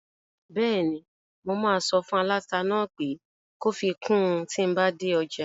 Bẹ́ẹ̀ni, mo máa sọ fún aláta náà pé kó fi kun tíi n bá dé ọjà